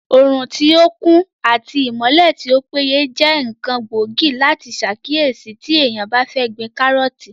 Òrùn tí ó kún àti ìmọ́lẹ̀ tí ó péye jẹ́ ǹkan gbóògì láti sàkíyèsí tí èèyàn bá fẹ́ gbin kárọ̀ọ̀tì